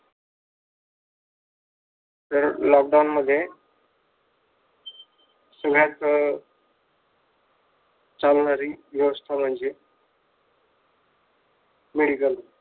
तर लॉकडाउन मध्ये चालणारी व्य्वस्था म्हणजे मेडिकल